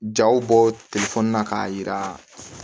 Jaw bɔ na k'a yira